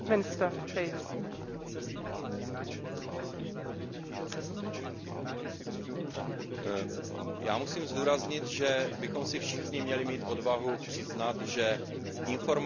Já musím zdůraznit, že bychom všichni měli mít odvahu si přiznat, že informovanost o způsobu fungování Evropské unie mezi občany Evropské unie je velmi nízká.